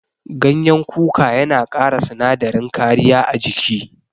Gyanyen kuka yana kara sinadarin kariya a jiki.